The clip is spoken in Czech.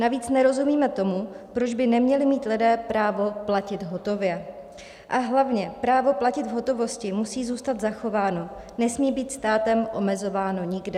Navíc nerozumíme tomu, proč by neměli mít lidé právo platit hotově, a hlavně právo platit v hotovosti musí zůstat zachováno, nesmí být státem omezováno nikde.